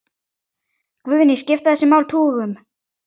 Guðný: Skipta þessi mál tugum?